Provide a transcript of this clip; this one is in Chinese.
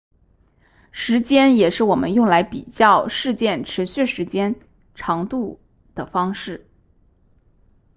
时间也是我们用来比较事件持续时间长度的方式